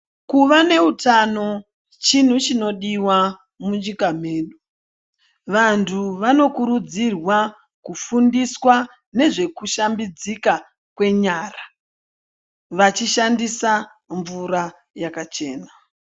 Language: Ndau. Kuvaneutano chintu chinodiwa munyika medu. Vantu vanokurudzirwa kufundiswa nezvekushambidzika kwenyara, vachishandisa mvura yakachena.